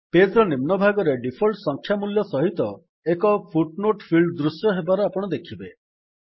page ର ନିମ୍ନ ଭାଗରେ ଡିଫଲ୍ଟ ସଂଖ୍ୟା ମୂଲ୍ୟ ସହିତ ଏକ ଫୁଟ୍ ନୋଟ୍ ପିଲ୍ଡ୍ ଦୃଶ୍ୟ ହେବାର ଆପଣ ଦେଖିବେ